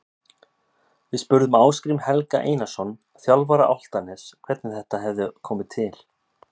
Við spurðum Ásgrím Helga Einarsson, þjálfara Álftaness, hvernig þetta hefði komið til.